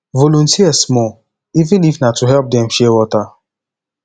volunteer small even if na to help dem share water